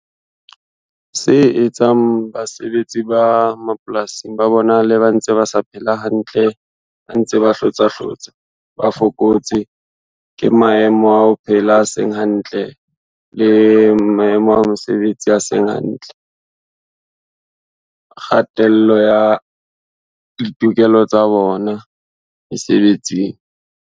Se etsang basebetsi ba mapolasing ba bonale ba ntse ba sa phela hantle, ba ntse ba hlotsa hlotsa, ba fokotse ke maemo a ho phela a seng hantle le maemo a mesebetsi a seng hantle. Kgatello ya ditokelo tsa bona mesebetsing.